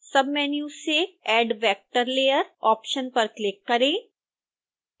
submenu से add vector layer option पर click करें